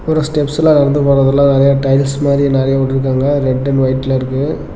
ஒரு ஸ்டெப்ஸ்ல நடந்து போற மாதிரி நறைய டைல்ஸ் மாதிரி நெறைய விட்டிருக்காங்க ரெட் அண்ட் வைட்ல இருக்கு.